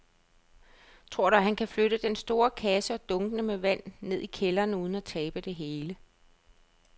Tror du, at han kan flytte den store kasse og dunkene med vand ned i kælderen uden at tabe det hele?